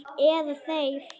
Eða þeir.